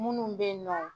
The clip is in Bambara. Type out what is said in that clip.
Minnu bɛ yen nɔ